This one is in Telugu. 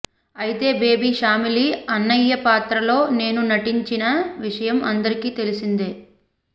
అయితే బేబీ షామిలి అన్నయ్య పాత్రలో నేను నటించిన విషయం అందరికీ తెలిసినదే